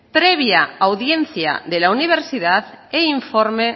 previa audiencia de la universidad e informe